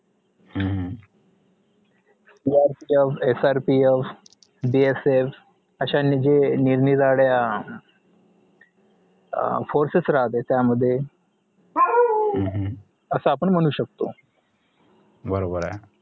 याच अं SRPFBSF अशांनी जे निरनिराळ्या अं forces राहते त्यामध्ये असं आपण म्हणू शकतो